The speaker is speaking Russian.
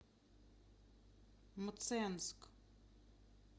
мценск